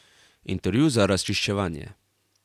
Intervju za razčiščevanje.